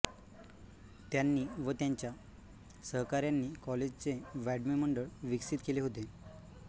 त्यांनी व त्यांच्या सहकाऱ्यांनी कॉलेजचे वाङ्मय मंडळ विकसित केले होते